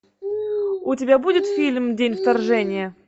у тебя будет фильм день вторжения